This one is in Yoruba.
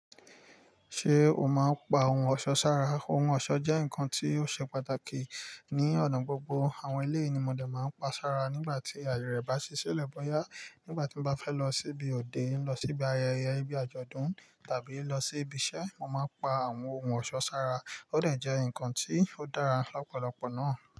Ṣé o máa ń pa ohun ọ̀ṣọ́ sára? Ohun ọ̀ṣọ́ jẹ́ nǹkan tó ṣe pàtàkì ní ọ̀nà gbogbo. Àwọn eléyìí ní mọ̀ dè máa ń pa sára nígbà tí àyè rẹ̀ bá ṣi ṣilẹ́ bọ́yà. Nígbà tí mo bá fẹ́ lọ síbi òde, lọ síbi ayẹyẹ nibí àjọ̀dún tàbí lọ síbi iṣẹ́, mo máa ń pa àwọn ohun ọ̀ṣọ́ sára. Ó dẹ̀ jẹ́ nǹkan ti ó dára lọ́pọ̀lọpọ̀ náà.